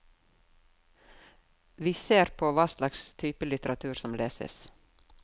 Vi ser på hva slags type litteratur som leses.